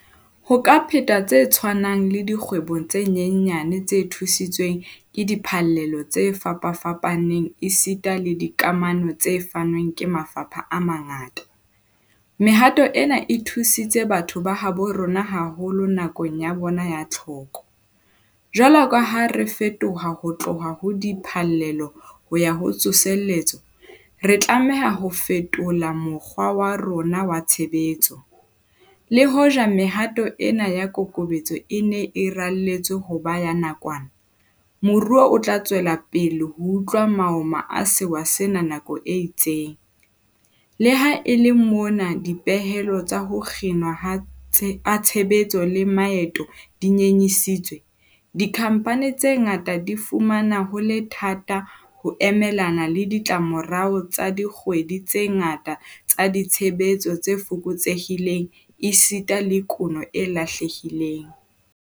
Ho ka phetwa tse tshwanang le dikgwebong tse nyenyane tse thusitsweng ke diphallelo tse fapafapaneng esita le dikamano tse fanweng ke mafapha a mangata. Mehato ena e thusitse batho ba habo rona haholo nakong ya bona ya tlhoko. Jwalo ka ha re fetoha ho tloha ho diphallelo ho ya ho tsosoletso, re tlameha ho fetola mokgwa wa rona wa tshebetso. Le hoja mehato ena ya kokobetso e ne e raletswe ho ba ya nakwana, moruo o tla tswela pele ho utlwa maoma a sewa sena nako e itseng. Le ha e le mona dipehelo tsa ho kginwa ha tshebetso le maeto di nyenyisitswe, dikhampani tse ngata di fumana ho le thata ho emelana le ditlamorao tsa dikgwedi tse ngata tsa ditshebetso tse fokotsehileng esita le kuno e lahlehileng.